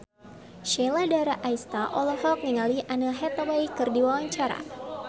Sheila Dara Aisha olohok ningali Anne Hathaway keur diwawancara